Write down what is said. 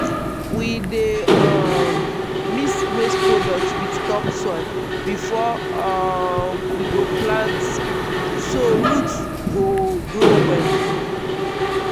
we dey um mix waste product with topsoil before um we go plant so root go grow well.